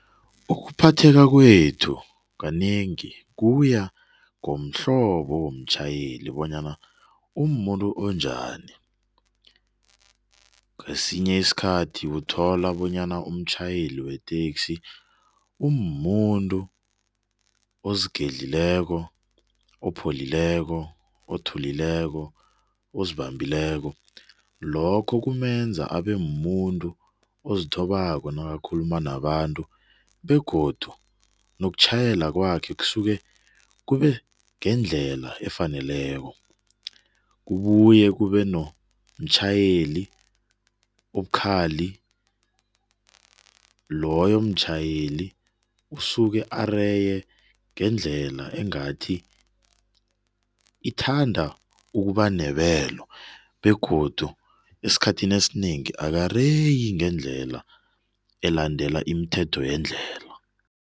Ukuphatheka kwethu kanengi kuya ngomhlobo womtjhayeli bonyana umuntu onjani. Ngesinye isikhathi uthola bonyana umtjhayeli weteksi umumuntu ozigedlileko, opholileko, othulileko, ozibambileko. Lokho kumenza abemumuntu ozithobako nakakhuluma nabantu begodu nokutjhayela kwakhe kusuke kubengendlela efaneleko. Kubuye kube nomtjhayeli obukhali. Loyo mtjhayeli usuke areye ngendlela engathi ithanda ukuba nebelo begodu esikhathini esinengi akareyi ngendlela elandela imithetho yendlela.